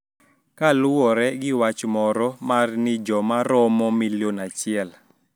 Kaluwore gi wach moro mar ni joma romo milion achiel